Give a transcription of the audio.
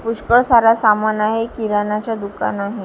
पुष्कळ सारा सामान आहे किराणाचा दुकान आहे.